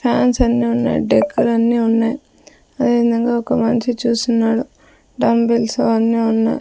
Fans అన్నీ ఉన్నాయి డెక్కులు అన్ని ఉన్నాయి అదేవిధంగా ఒక మనిషి చూస్తున్నాడు డంబుల్స్ అన్నీ ఉన్నాయి.